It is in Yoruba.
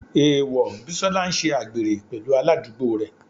Èèwọ̀, Bísọ́lá ń ṣe àgbèrè pẹ̀lú aládùúgbò rẹ̀.